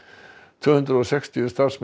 tvö hundruð og sextíu starfsmenn